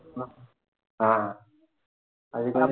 ஹம் அதுக்கு